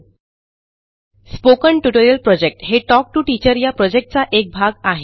spoken tutorial project हे talk to teacher या प्रॉजेक्टचा एक भाग आहे